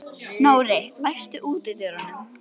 Nóri, læstu útidyrunum.